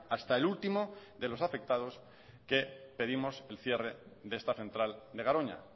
hasta el último de los afectados que pedimos el cierre de esta central de garoña